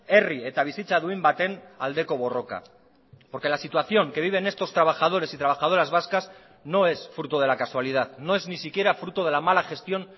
herri eta bizitza duin baten aldeko borroka porque la situación que viven estos trabajadores y trabajadoras vascas no es fruto de la casualidad no es ni siquiera fruto de la mala gestión